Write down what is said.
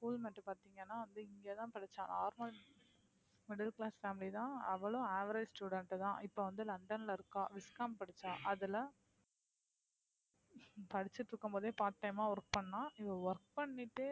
school மட்டும் பாத்தீங்கன்னா வந்து இங்கதான் படிச்ச normal middle class family தான் அவளும் average student தான் இப்ப வந்து லண்டன்ல இருக்கா viscom படிச்ச அதுல படிச்சுட்டு இருக்கும் போதே part time ஆ work பண்ணா இவ work பண்ணிட்டு